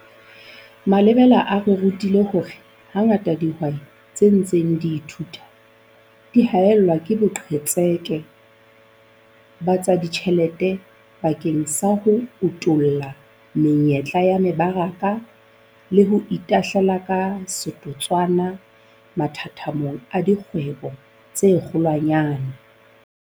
Malebela a re rutile hore hangata dihwai tse ntseng di thuthua di haellwa ke boqhetseke ba tsa ditjhelete bakeng sa ho utolla menyetla ya mebaraka le ho itahlela ka setotswana mathathamong a dikgwebo tse kgolwanyane.